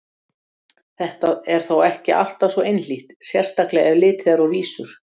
Þetta er þó ekki alltaf svo einhlítt, sérstaklega ef litið er á vísur.